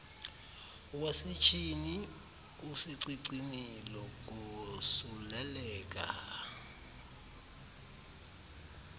wasetyhini usecicini lokosuleleka